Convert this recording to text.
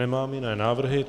Nemám jiné návrhy.